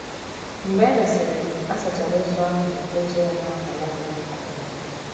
Mgbe e mesịrị, a sachara ozu ahụ ma kechie ya n’ákwà lainin nke ọma.